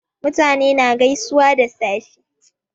Mutane na gaisuwa da safe